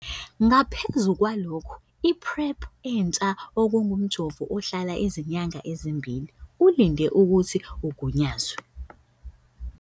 Ngaphezu kwalokhu, i-PrEP entsha - okungumjovo ohlala izinyanga ezimbili - ulinde ukuthi ugunyazwe.